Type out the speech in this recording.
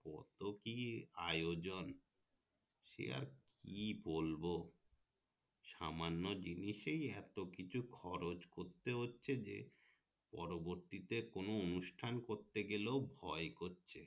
কত ক আয়োজন সে আর কি বলবো সামান্য জিনিসে এত কিছু খরচ করতে হচ্ছে যে পরবর্তীতে কোনো অনুষ্ঠান করতে গেলেও ভয় করছে